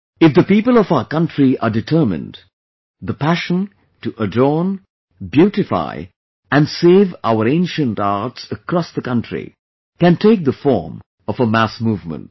If the people of our country are determined, the passion to adorn, beautify and save our ancient arts across the country can take the form of a mass movement